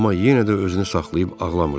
Amma yenə də özünü saxlayıb ağlamırdı.